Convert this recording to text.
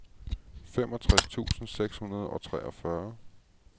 femogtres tusind seks hundrede og treogfyrre